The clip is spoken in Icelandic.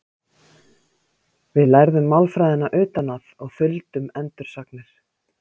Við lærðum málfræðina utan að og þuldum endursagnir.